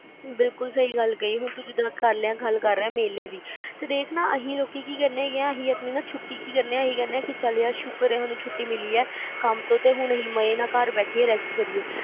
ਬਿਲਕੁਲ ਸਹੀ ਗੱਲ ਕਹੀ ਆ ਤੁਸੀਂ ਜਿੱਦਾਂ ਆਪਾ ਗੱਲ ਕਰ ਰਹੇ ਆ ਮੇਲੇ ਦੀ ਦੇਖਣਾ ਅਸੀਂ ਲੋਕੀ ਕਿ ਕਰਦੇ ਆ ਅਸੀਂ ਆਪਣੀ ਛੁਟੀ ਕਿ ਕਰਦੇ ਆ ਕਿ ਚਲ ਯਾਰ ਸ਼ੁਕਰ ਆ ਛੁੱਟੀ ਮਿਲੀ ਆ ਤੇ ਕੰਮ ਤੋਂ ਅਸੀਂ ਮਜੇ ਨਾਲ ਘਰ ਬੈਠੀਏ rest ਕਰੀਏ